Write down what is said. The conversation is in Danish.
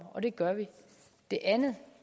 og det gør vi det andet